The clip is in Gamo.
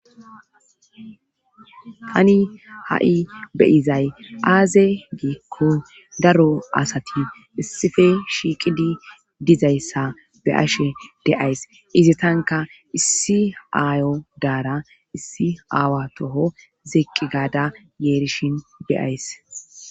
tani ha7i beyizay aaze giikko daro asati issife shiiqidi dizayssa be ashe deays izatanka issi aayo daara issi aawa toho zeqqi gaada yeerishin beyays